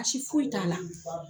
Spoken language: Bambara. Baasi foyi t'a la.